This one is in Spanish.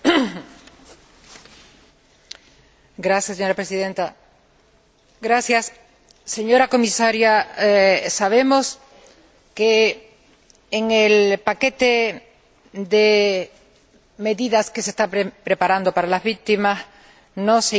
Señora Presidenta, señora Comisaria, sabemos que en el paquete de medidas que se está preparando para las víctimas no se incluye ninguna medida jurídica.